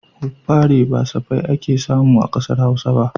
Hubbare ba safai ake samu a ƙasar Hausa ba